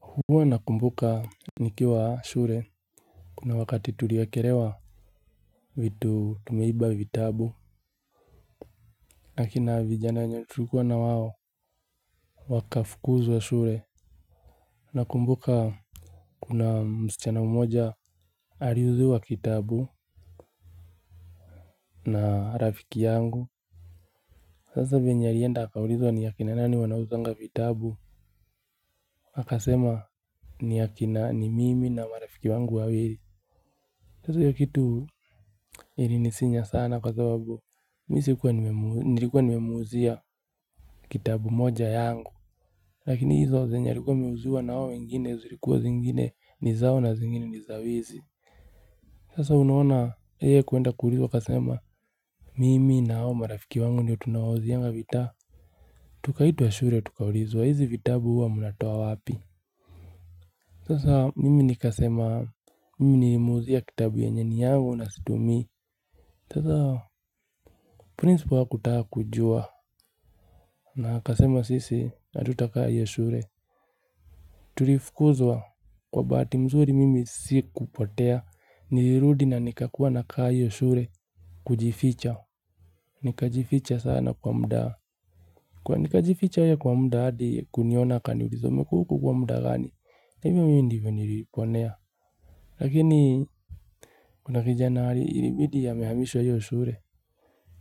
Huwa nakumbuka nikiwa shule kuna wakati tuliekelewa vitu tumeiba vitabu. Na kina vijana wenye tulikuwa na wao wakafukuzwa shule. Nakumbuka kuna msichana mmoja aliuziwa kitabu na rafiki yangu. Sasa venye alienda akaulizwa ni akina nani wanauzanga vitabu. Akasema ni akina ni mimi na marafiki wangu wawili. Sasa hiyo kitu ilinisinya sana kwa sababu, nilikuwa nimemuuzia kitabu moja yangu. Lakini hizo zenye alikuwa ameuziwa na hao wengine zilikuwa zingine ni zao na zingine ni za wizi. Sasa unaona yeye kuenda kuulizwa akasema, mimi na hao marafiki wangu ndio tunawauzianga vita. Tukaitwa shule tukaulizwa hizi vitabu huwa mnatoa wapi. Sasa mimi nikasema, mimi nilimuuzia kitabu yenye ni yangu na situmii. Sasa principal hakutaka kujua na akasema sisi hatutakaa hiyo shule. Tulifukuzwa kwa bahati mzuri mimi sikupotea. Nilirudi na nikakuwa nakaa hiyo shule kujificha. Nikajificha sana kwa muda. Kwa nikajificha yeye kwa muda hadi kuniona akaniuliza, umekuwa huku kwa muda gani? Na hivyo mimi ndivyo niliponea. Lakini kuna kijana ilibidi amehamishwa hiyo shule.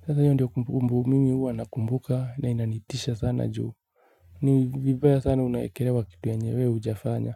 Sasa hiyo ndio kumbumbu mimi huwa nakumbuka na inanitisha sana juu, ni vibaya sana unaekelewa kitu yenye we hujafanya.